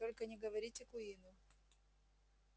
только не говорите куинну